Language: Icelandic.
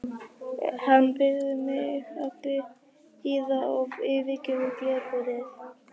Hann biður mig að bíða og yfirgefur glerbúrið.